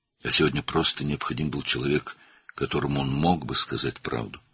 Amma bu gün sadəcə olaraq həqiqəti deyə biləcəyi bir insana ehtiyac duyurdu.